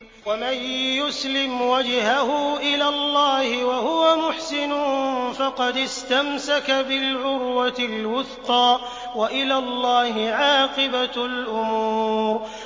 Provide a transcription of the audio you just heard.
۞ وَمَن يُسْلِمْ وَجْهَهُ إِلَى اللَّهِ وَهُوَ مُحْسِنٌ فَقَدِ اسْتَمْسَكَ بِالْعُرْوَةِ الْوُثْقَىٰ ۗ وَإِلَى اللَّهِ عَاقِبَةُ الْأُمُورِ